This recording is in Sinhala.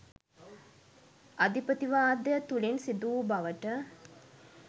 අධිපතිවාදය තුළින් සිදුවූ බවට